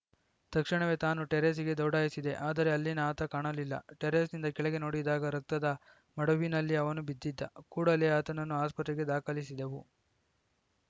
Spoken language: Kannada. ತಕ್ಷಣವೇ ತಾನು ಟೆರೇಸ್‌ಗೆ ದೌಡಾಯಿಸಿದೆ ಆದರೆ ಅಲ್ಲಿನ ಆತ ಕಾಣಲಿಲ್ಲ ಟೆರೇಸ್‌ನಿಂದ ಕೆಳಗೆ ನೋಡಿದಾಗ ರಕ್ತದ ಮಡುವಿನಲ್ಲಿ ಅವನು ಬಿದ್ದಿದ್ದ ಕೂಡಲೇ ಆತನನ್ನು ಆಸ್ಪತ್ರೆಗೆ ದಾಖಲಿಸಿದೆವು